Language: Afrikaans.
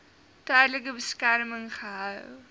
tydelike beskerming gehou